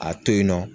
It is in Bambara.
A to yen nɔ